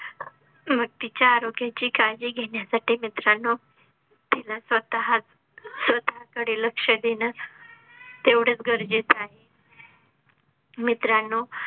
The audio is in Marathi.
मग तिच्या आरोग्या ची काळजी घेण्या साठी मित्रांनो, तिनं स्वतःच स्वतः कडे लक्ष देन. तेवढच गरजेच आहे मित्रांनो,